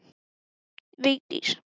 Ég ætla ekki að selja þér neitt.